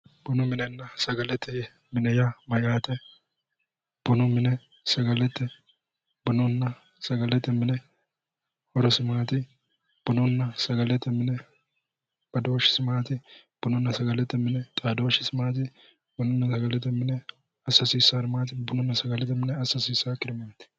Bunu minenna sagalete mine yaa mayaate? bunu mine sagalete, bununna sagalete mine horosi maati? bununa sagalete mine badooshshisi maati? bununna sagalete mine xaadooshisi maati? bununa sagalete mine assa hasiissaari maati? bununna sagalete mine assa hasiissaakkiri maati?